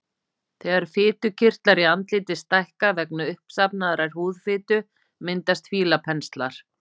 Þegar fitukirtlar í andliti stækka vegna uppsafnaðrar húðfitu myndast fílapenslar.